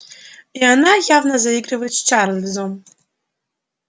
и она явно заигрывает с чарлзом